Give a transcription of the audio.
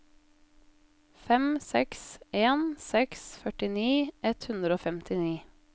fem seks en seks førtini ett hundre og femtini